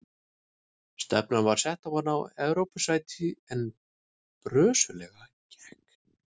Stefnan var sett á að ná Evrópusæti en brösuglega gekk.